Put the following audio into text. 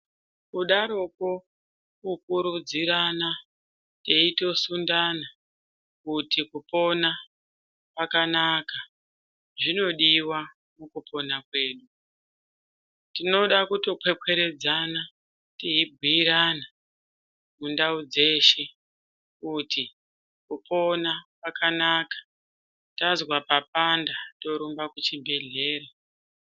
Kudarokwo kukurudzirana teitosundana kuti kupona kwakanaka zvinodiwa mukupona kwedu. Tinoda kutopwepweredzana teibhiirana mundau dzeshe kuti kupona kwakanaka tazwa papanda torumba kuchibhedhlera.